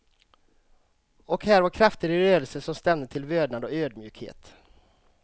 Och här var krafter i rörelse som stämde till vördnad och ödmjukhet.